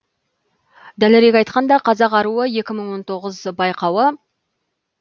дәлірек айтқанда қазақ аруы екі мың он тоғыз байқауы